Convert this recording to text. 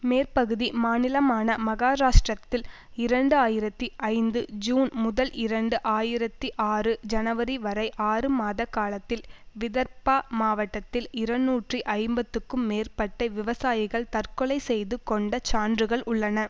மேற்கு பகுதி மாநிலமான மகாராஷ்டிரத்தில் இரண்டு ஆயிரத்தி ஐந்து ஜுன் முதல் இரண்டு ஆயிரத்தி ஆறு ஜனவரி வரை ஆறு மாத காலத்தில் விதர்பா மாவட்டத்தில் இரநூற்றி ஐம்பதுக்கும் மேற்பட்ட விவசாயிகள் தற்கொலை செய்து கொண்ட சான்றுகள் உள்ளன